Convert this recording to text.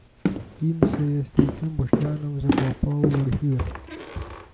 In se je s stricem Boštjanom zakopal v arhive.